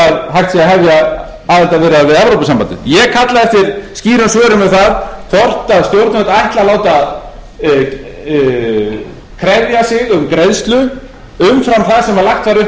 hægt sé að hefja aðildarviðræður við evrópusambandið ég kalla eftir skýrum svörum um það hvort stjórnvöld ætli að láta krefja sig um greiðslu umfram það sem lagt var upp